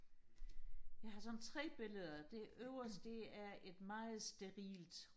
jeg har sådan tre billeder det øverste det er et meget sterilt